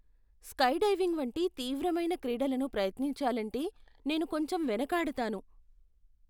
Skydiving వంటి తీవ్రమైన క్రీడలను ప్రయత్నించాలంటే నేను కొంచెం వెనుకాడతాను.